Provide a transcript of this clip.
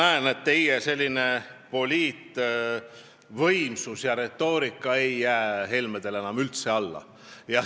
Ma näen, et teie poliitvõimsus ja retoorika ei jää Helmedele enam üldse alla.